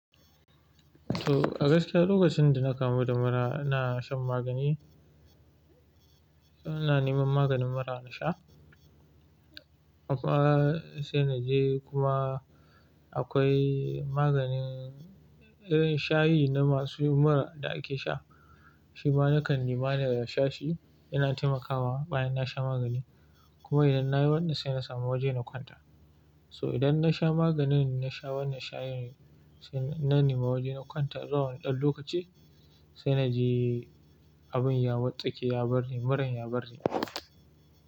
To, Agaskiya lokacin da na kamu da mura ina shan magani. Na neman maganin mura na sha. Akwai sai na je kuma akwai maganin irin shayi na masu mura da ake sha. Shi ma na kan nema na sha shi yana taimakawa bayan na sha magani. Kuma idan na yi wannan sai na samu waje na kwanta. So idan na sha maganin na sha wannan shayin sai na nema waje na kwanta zuwawani ɗan lokaci sai na je abin ya wartsake, ya bar ni, muran ya bar ni.